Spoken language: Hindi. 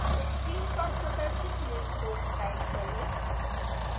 screen पर प्रदर्शित निम्न code type करें